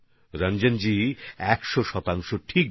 রঞ্জনবাবুর কথা একশ শতাংশ সঠিক